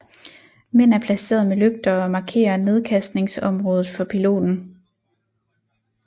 Mænd er placeret med lygter og markerer nedkastningsområdet for piloten